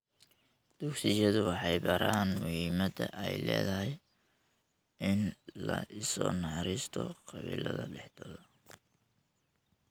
Dugsiyadu waxay baraan muhiimadda ay leedahay in la isu naxariisto qabiillada dhexdooda.